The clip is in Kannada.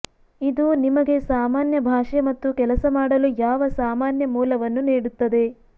ಇದು ನಿಮಗೆ ಸಾಮಾನ್ಯ ಭಾಷೆ ಮತ್ತು ಕೆಲಸ ಮಾಡಲು ಯಾವ ಸಾಮಾನ್ಯ ಮೂಲವನ್ನು ನೀಡುತ್ತದೆ